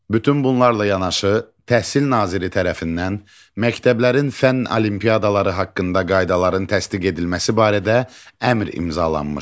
Bütün bunlarla yanaşı, təhsil naziri tərəfindən məktəblərin fənn olimpiadaları haqqında qaydaların təsdiq edilməsi barədə əmr imzalanmışdı.